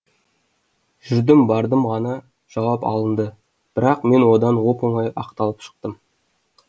жүрдім бардым ғана жауап алынды бірақ мен одан оп оңай ақталып шықтым